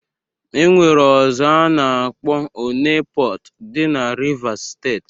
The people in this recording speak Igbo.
E nwere ọzọ a na-akpọ Onne Pọt, dị na Rivas steeti